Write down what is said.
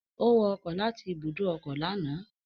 Ó wọ ọkọ̀ láti ibùdó ọkọ̀ lánàá